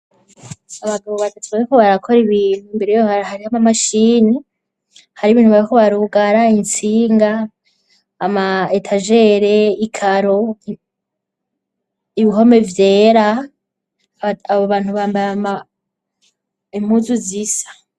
Abagabo batatu bariko barakora ibintu, imbere yabo hariho ama mashini, hari ibintu bariko barugara intsinga, ama etagere, ikaro, ibihome vyera abo bantu bambaye impuzu zisa.